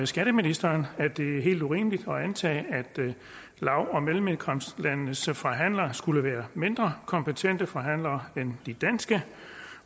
skatteministeren at det er helt urimeligt at antage at lav og mellemindkomstlandenes forhandlere skulle være mindre kompetente forhandlere end de danske